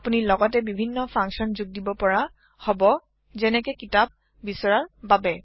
আপুনি লগতে বিভিন্ন ফাংচন যোগ দিব পৰা হব যেনেকে কিতাপ বিচৰাৰ বাবে